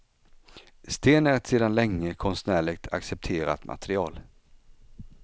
Sten är ett sedan länge konstnärligt accepterat material.